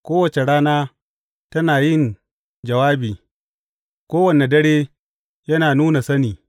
Kowace rana tana yin jawabi; kowane dare yana nuna sani.